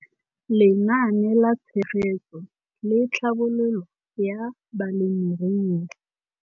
Lenaane la Tshegetso le Tlhabololo ya Balemirui.